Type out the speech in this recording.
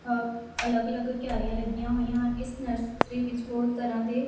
ਅ ਅਲੱਗ ਅਲੱਗ ਤਿਆਰੀਆਂ ਲੱਗੀਆਂ ਹੋਈਆਂ ਇਸ ਨਰਸਰੀ ਵਿੱਚ ਬਹੁਤ ਤਰ੍ਹਾਂ ਦੇ--